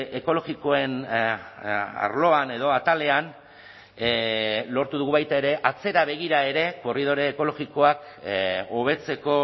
ekologikoen arloan edo atalean lortu dugu baita ere atzera begira ere korridore ekologikoa hobetzeko